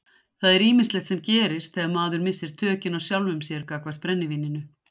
Það er ýmislegt sem gerist þegar maður missir tökin á sjálfum sér gagnvart brennivíninu.